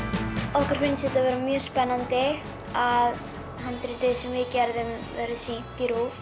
okkur finnst þetta vera mjög spennandi að handritið sem við gerðum verði sýnt í RÚV